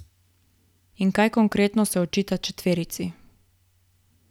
In kaj konkretno se očita četverici?